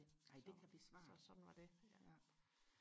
så så sådan var det ja